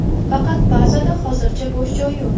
Faqat bazada hozircha bo‘sh joy yo‘q.